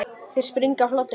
Þeir springa af hlátri.